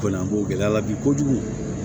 Ko nin ko gɛlɛya la bi kojugu